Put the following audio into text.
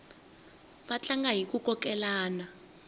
va tlanga hiku kokelana